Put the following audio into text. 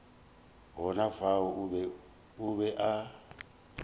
gona fao o be a